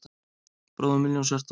Bróðir minn Ljónshjarta